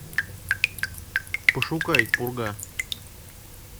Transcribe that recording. пошукай пурга